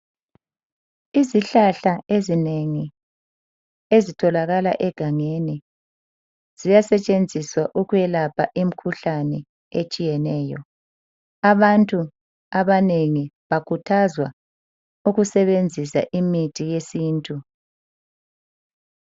Izihlahla ezinengi ezitholakala egangeni ziyasetshenzisa ukwelapha imikhuhlane etshiyeneyo. Abantu abanengi bakhuthazwa okusebenzisa imithi yesintu.